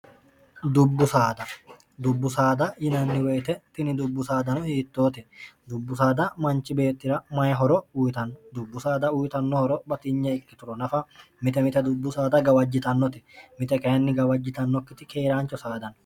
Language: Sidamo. dubbu saada dubbu saada yinanni woyite tini dubbu saadano hiittoote dubbu saada manchi beettira mayihoro uyitanno dubbu saada uyitannohoro batinya ikkitulo nafa mite mite dubbu saada gawajjitannote mite kayinni gawajjitannokkiti keeraancho saadanno